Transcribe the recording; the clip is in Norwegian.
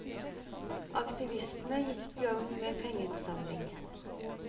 Aktivistene gikk i gang med pengeinnsamling.